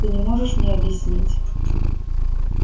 ты не можешь мне объяснить